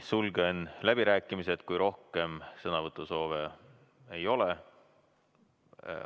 Sulgen läbirääkimised, kui rohkem sõnavõtusoove ei ole.